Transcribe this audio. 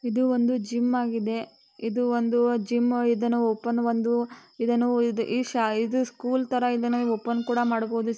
ಇದು ಒಂದು ಜಿಮ್ ಆಗಿದೆ. ಇದು ಒಂದು ಅ ಜಿಮ್ . ಇದನ್ನು ಓಪನ್ ಒಂದು ಇದನ್ನು ಇದ್ಈ ಶಾ ಇದು ಸ್ಕೂಲ್ ತರಹ ಇದನ್ನು ಓಪನ್ ಕೂಡ ಮಾಡ್ಬಹುದು.